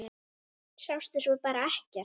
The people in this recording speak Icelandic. Sástu svo bara ekkert?